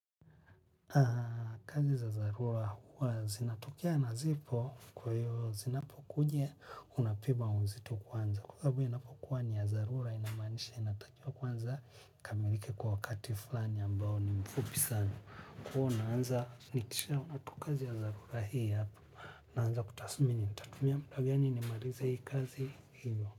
Kazi za dharura huwa zinatokea na zipo, kwa hiyo zinapokujia. Unapima uzito kwanza kwa hivyo inapokuwa ni ya dharura inamaanisha inatakiwa kwanza ikamilike kwa wakati fulani ambao ni mfupi sana. Kuwa unaanza nikisha unatukazi ya dharura hii hapa. Na anza kutasumini nitatumia muda gani nimalizehii kazi hiyo.